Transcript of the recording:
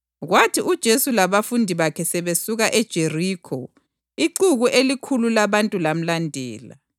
Kwathi uJesu labafundi bakhe sebesuka eJerikho ixuku elikhulu labantu lamlandela.